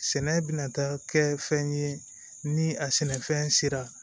Sɛnɛ bɛna taa kɛ fɛn ye ni a sɛnɛfɛn sera